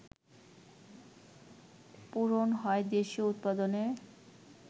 পূরণ হয় দেশীয় উৎপাদনে